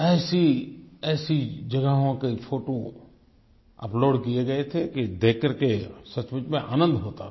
ऐसीऐसी जगहों के photo upload किये गए थे कि देख कर के सचमुच में आनंद होता था